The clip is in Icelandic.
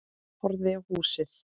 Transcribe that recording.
Horfði á húsið.